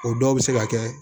O dɔw bɛ se ka kɛ